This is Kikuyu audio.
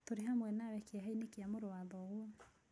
Tũrĩ hamwe nawe kĩeha-inĩ kĩa mũrũ wa thoguo